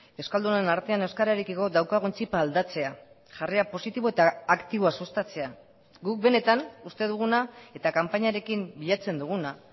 euskaldunon artean euskararekiko daukagun txipa aldatzea jarrera positibo eta aktiboa sustatzea guk benetan uste duguna eta kanpainarekin bilatzen duguna